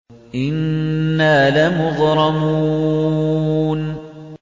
إِنَّا لَمُغْرَمُونَ